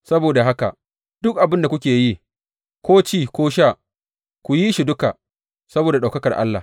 Saboda haka, duk abin da kuke yi, ko ci ko sha, ku yi shi duka saboda ɗaukakar Allah.